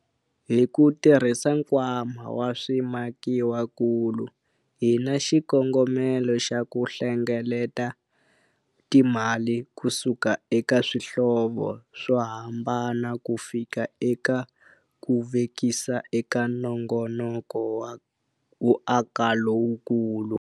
Hi ku tirhisa Nkwama wa Swimakiwakulu hi na xikongomelo xa ku hlengeleta timali kusuka eka swihlovo swo hambana kufika eka ku vekisa eka nongonoko wo aka lowukulu.